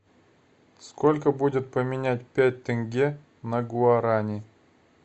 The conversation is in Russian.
сколько будет поменять пять тенге на гуарани